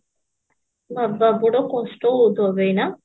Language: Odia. ବାବା ବଡ କଷ୍ଟ ହଉଥିବ ବେ ଏଇନା